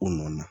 O nɔ na